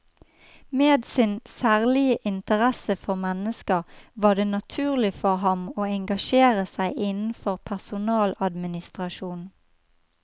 Med sin særlige interesse for mennesker var det naturlig for ham å engasjere seg innenfor personaladministrasjon.